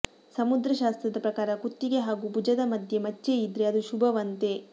ಸಮುದ್ರಶಾಸ್ತ್ರದ ಪ್ರಕಾರ ಕುತ್ತಿಗೆ ಹಾಗೂ ಭುಜದ ಮಧ್ಯೆ ಮಚ್ಚೆಯಿದ್ರೆ ಅದು ಶುಭವಂತೆ